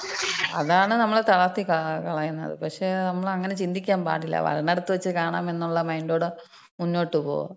അതാണ് നമ്മളെ തളർത്തിക്കളയുന്നത്. പക്ഷേ നമ്മളങ്ങനെ ചിന്തിക്കാ പാടില്ല. വരുന്നിടത്ത് വച്ച് കാണാം എന്നൊള്ള മൈൻഡോടെ മുന്നോട്ട് പോവുക.